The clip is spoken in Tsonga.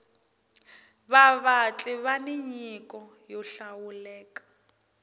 vavatli vani nyiko yo hlawuleka